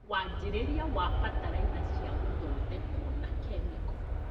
Wanjĩrĩria wa bataraitha cia gĩthondekwo na kĩmĩko